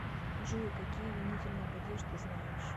джой какие винительный падеж ты знаешь